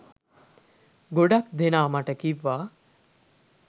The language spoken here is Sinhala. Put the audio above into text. ගොඩක් දෙනා මට කිව්වා